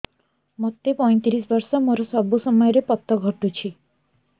ମୋତେ ପଇଂତିରିଶ ବର୍ଷ ମୋର ସବୁ ସମୟରେ ପତ ଘଟୁଛି